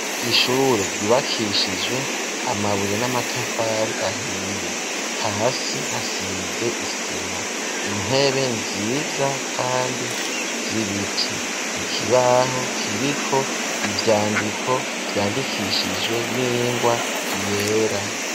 Ishure ryubakishijwe amabuye n'amatafari ahiye hasi hasize isima intebe nziza kandi z’ibiti, ikibaho kiriko ivyandiko vyandikishijwe n'ingwa yera.